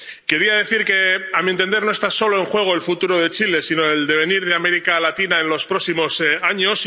Quería decir que, a mi entender, no está solo en juego el futuro de Chile, sino el devenir de América Latina en los próximos años.